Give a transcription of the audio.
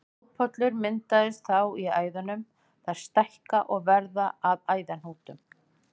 Blóðpollar myndast þá í æðunum, þær stækka og verða að æðahnútum.